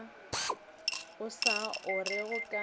o sa o orego ga